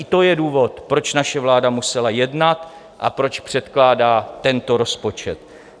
I to je důvod, proč naše vláda musela jednat a proč předkládá tento rozpočet.